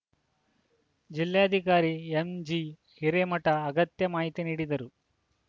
ಜಿಲ್ಲೆ ಅಧಿಕಾರಿ ಎಂಜಿ ಹಿರೇಮಠ ಅಗತ್ಯ ಮಾಹಿತಿ ನೀಡಿದರು